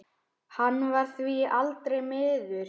Hann varð því aldrei smiður.